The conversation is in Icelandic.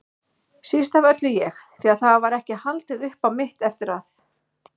Síst af öllu ég, því það var ekki haldið upp á mitt eftir að